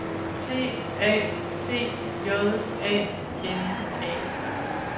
T A T J A N A